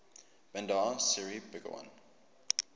bandar seri begawan